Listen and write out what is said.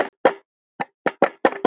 Þín dóttir Kristín Alda.